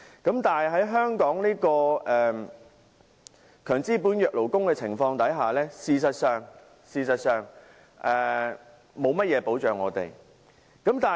不過，在香港強資本弱勞工的環境，事實上勞工沒有甚麼保障。